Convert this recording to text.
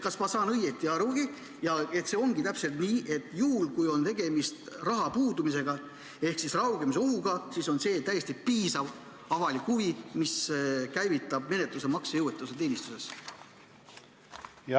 Kas ma saan õigesti aru, et see ongi täpselt nii, et juhul kui on tegemist raha puudumisega ehk raugemise ohuga, siis on see täiesti piisav avalik huvi, mis käivitab menetluse maksejõuetuse teenistuses?